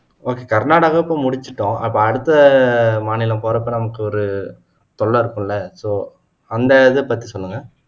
okay Karnataka இப்போ முடிச்சுட்டோம் அப்போ அடுத்த மாநிலம் போறதுக்கு நமக்கு ஒரு தொல்லை இருக்கும்ல so அந்த இத பத்தி சொல்லுங்க